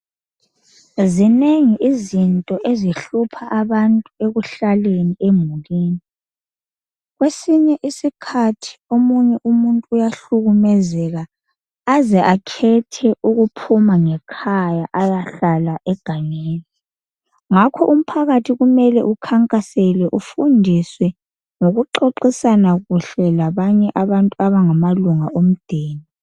Zinengi izinto ezihlupha abantu ekuhlaleni emulini, Kwesinye isikhathi umuntu uyahlukumezeka aze akhethe ukuphuma ngekhaya ayehlala egangeni. Ngakho umphakathi kumele ukukhankaselwe, ufundiswe ngokuxoxisana kuhle lamanye amalunga omdeni.